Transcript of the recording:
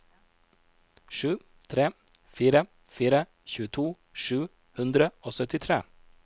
sju tre fire fire tjueto sju hundre og syttitre